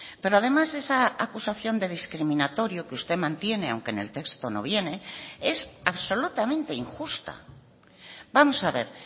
pero además esa acusación de discriminatorio que usted mantiene aunque en el texto no viene es absolutamente injusta vamos a ver